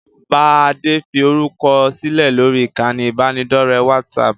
Bá Adé fi orúkọ sílẹ̀ lórí ìkànnì ibanidọ̀rẹ́ WhatsApp!